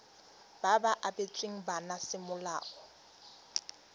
ba ba abetsweng bana semolao